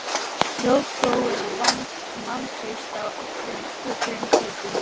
Rótgróið vantraust á öllum sköpuðum hlutum.